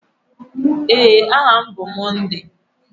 Ee, aha m bụ Monday.